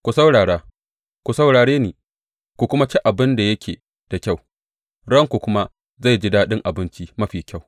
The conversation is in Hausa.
Ku saurara, ku saurare ni, ku kuma ci abin da yake da kyau, ranku kuma zai ji daɗin abinci mafi kyau.